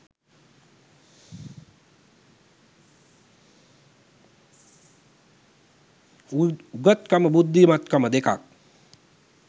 උගත් කම බුද්ධිමත් කම දෙකක්